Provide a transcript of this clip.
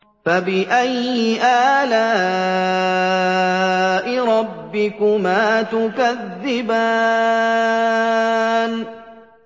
فَبِأَيِّ آلَاءِ رَبِّكُمَا تُكَذِّبَانِ